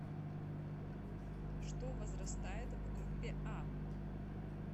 что возрастает в группе а